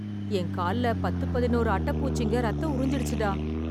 என் கால்ல பத்து பதினொரு அட்ட பூச்சிங்க ரத்தம் உறிஞ்சிடுச்சுடா...